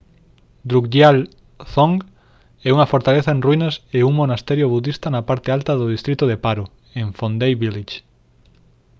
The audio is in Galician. drukgyal dzong é unha fortaleza en ruínas e un mosteiro budista na parte alta do distrito de paro en phondey village